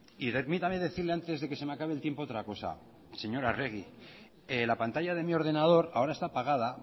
y permítame decirle antes de que se me acabe el tiempo otra cosa señora arregi la pantalla de mi ordenador ahora está apagada